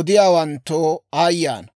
odiyaawanttoo aayye ana!